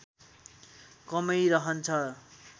कमै रहन्छ